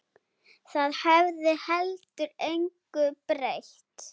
Það hefði heldur engu breytt.